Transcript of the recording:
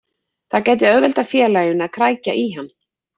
Það gæti auðveldað félaginu að krækja í hann.